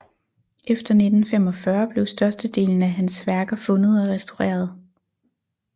Efter 1945 blev størstedelen af hans værker fundet og restaureret